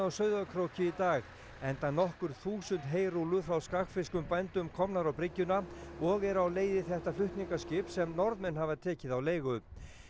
Sauðárkróki í dag enda nokkur þúsund heyrúllur frá skagfirskum bændum komnar á bryggjuna og eru á leið í þetta flutningaskip sem Norðmenn hafa tekið á leigu